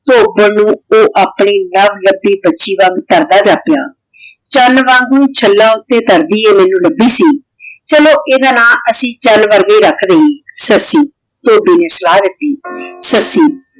ਧੋਬਨ ਨੂ ਊ ਆਪਣੀ ਨਵ ਲਭੀ ਬਚੀ ਵਾਂਗ ਕਰਦਾ ਜਪ੍ਯ ਚਾਨ ਵਾਂਗੂ ਚੱਲਾਂ ਊਟੀ ਤਰਦੀ ਆਯ ਲਾਬੀ ਸੀ ਚਲੋ ਏਡਾ ਨਾਮ ਅਸੀਂ ਚਾਨ ਵਰਗੀ ਰਖ ਦਿਯੇ ਸੱਸੀ ਧੋਭੀ ਨੇ ਸਲਾਹ ਦਿਤੀ ਸੱਸੀ